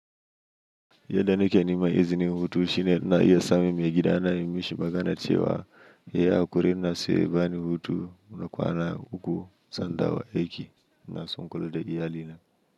Yadda ne ke nema izinin hutu shine ina iya samun maigidana, in mishi magana cewa. Ya yi hakuri ina so ya bani hutu na kwana uku zan dawa aiki ina so ikula da iya lina.